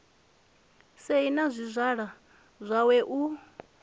sei na zwizwala zwawe u